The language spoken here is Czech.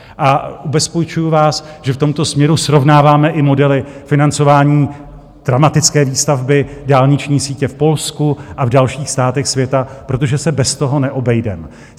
A ubezpečuju vás, že v tomto směru srovnáváme i modely financování dramatické výstavby dálniční sítě v Polsku a v dalších státech světa, protože se bez toho neobejdeme.